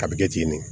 A bɛ kɛ k'i ɲini